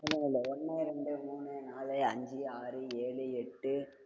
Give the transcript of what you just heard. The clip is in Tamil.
நில்லு நில்லு ஒண்ணு, ரெண்டு, மூணு, நாலு, அஞ்சு, ஆறு, ஏழு, எட்டு